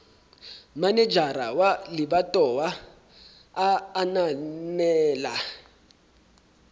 manejara wa lebatowa a ananela